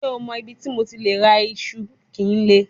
Ṣe o mọ ibiti MO ti le ra iṣu kile?